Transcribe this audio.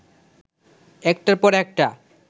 একটার পর একটা